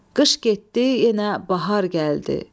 Qış getdi, yenə bahar gəldi.